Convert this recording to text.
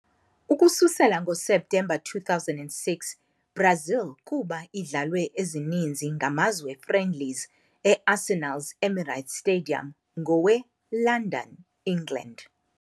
Ukususela ngoSeptemba 2006, Brazil kuba idlalwe ezininzi ngamazwe friendlies eArsenal's Emirates Stadium ngowe-London, England.